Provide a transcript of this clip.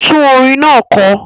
Tún orin náà kọ!